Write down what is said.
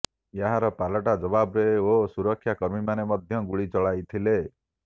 ଏହାର ପାଲଟା ଜବାବରେ ଓ ସୁରକ୍ଷାକର୍ମୀମାନେ ମଧ୍ୟ ଗୁଳି ଚଳାଇଥିଲେ